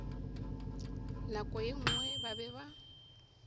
nako ye nngwe ba be